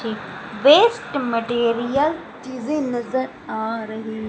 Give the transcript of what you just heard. waste material चीजे आ रही--